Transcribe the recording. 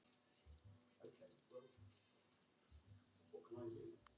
Þín dóttir, Ásdís Björk.